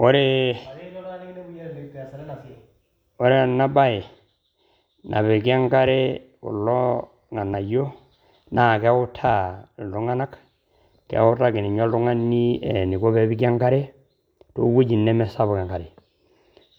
Ore, ore ena bae napiki enkare kulo ng`anayio naa keutaa iltung`anak, keutaki ninye oltung`ani eniko pee epiki enkare te wueji neme sapuk enkare.